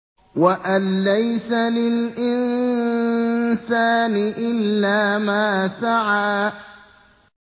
وَأَن لَّيْسَ لِلْإِنسَانِ إِلَّا مَا سَعَىٰ